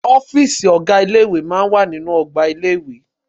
Ọ́fìsì ọ̀gá ilé ìwé máa ń wà nínú ọgbà ilé-ìwé